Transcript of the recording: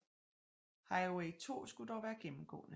Highway 2 skulle dog være gennemgående